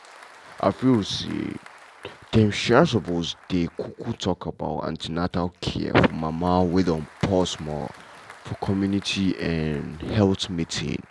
i feel say dem um suppose dey um talk about an ten atal care for mama wey don pause more for community um health meeting.